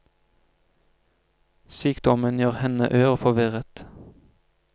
Sykdommen gjør henne ør og forvirret.